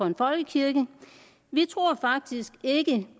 en folkekirke vi tror faktisk ikke